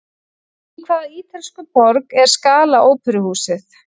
Í hvaða ítölsku borg er Scala óperuhúsið?